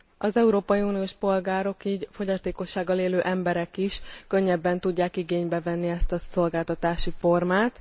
Az európai uniós polgárok, így a fogyatékossággal élő emberek is könnyebben tudják igénybe venni ezt a szolgáltatási formát.